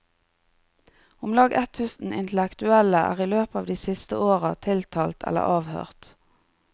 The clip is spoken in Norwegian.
Omlag ett tusen intellektuelle er i løpet av de siste åra tiltalt eller avhørt.